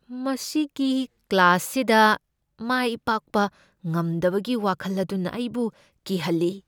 ꯃꯁꯤꯒꯤ ꯀ꯭ꯂꯥꯁꯁꯤꯗ ꯃꯥꯏ ꯄꯥꯛꯄ ꯉꯝꯗꯕꯒꯤ ꯋꯥꯈꯜ ꯑꯗꯨꯅ ꯑꯩꯕꯨ ꯀꯤꯍꯜꯂꯤ꯫